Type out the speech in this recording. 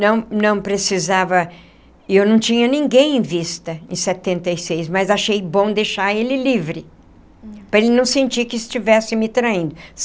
não não precisava, eu não tinha ninguém em vista em setenta e seis, mas achei bom deixar ele livre, para ele não sentir que estivesse me traindo.